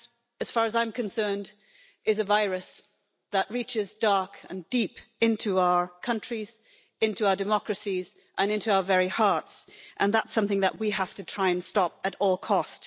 As far as I am concerned, suffering violence is a virus that reaches dark and deep into our countries, into our democracies and into our very hearts, and that's something that we have to try and stop at all cost.